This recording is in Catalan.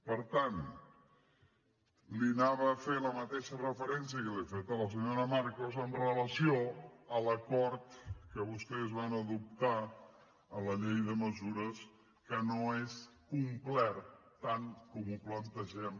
per tant li anava a fer la mateixa referència que li he fet a la senyora marcos amb relació a l’acord que vostès van adoptar a la llei de mesures que no és complet tant com ho plantegem